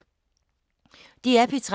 DR P3